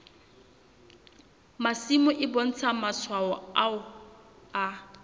masimo e bontsha matshwao a